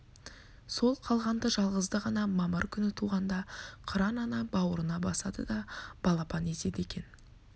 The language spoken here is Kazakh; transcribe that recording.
сол қалғанды жалғызды ғана мамыр күні туғанда қыран ана бауырына басады да балапан етеді екен